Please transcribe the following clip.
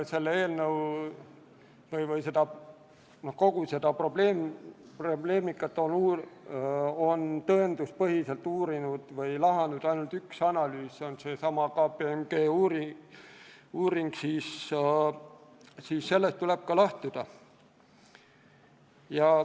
Kui kogu seda probleemi on tõenduspõhiselt uuritud ainult ühe analüüsi käigus – see on seesama KPMG uuring –, siis sellest tuleb ka lähtuda.